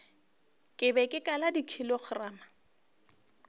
ke be ke kala dikilogramo